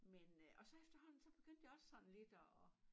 Men øh og så efterhånden så begyndte det også sådan lidt at